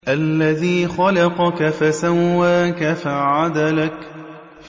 الَّذِي خَلَقَكَ فَسَوَّاكَ فَعَدَلَكَ